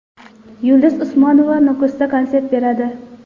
Yulduz Usmonova Nukusda konsert beradi.